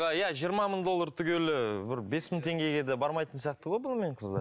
иә жиырма мың доллар түгелі бір бес мың теңгеге де бармайтын сияқты ғой бұнымен қыздар